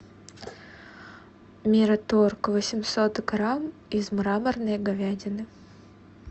мираторг восемьсот грамм из мраморной говядины